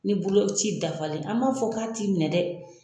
Ni boloci dafalen an man fɔ k'a t'i minɛ dɛ.